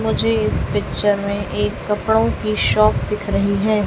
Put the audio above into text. मुझे इस पिक्चर में एक कपड़ों की शॉप दिख रही है।